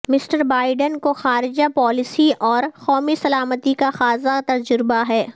mister Biden کو خارجہ policy اور قومی سلامتی کا خاصا تجربہ ہے